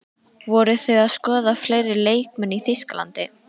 Voruð þið að skoða fleiri leikmenn í Þýskalandi?